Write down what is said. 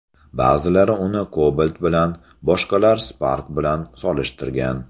Ba’zilar uni Cobalt bilan, boshqalar Spark bilan solishtirgan.